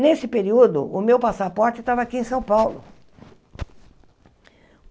Nesse período, o meu passaporte estava aqui em São Paulo.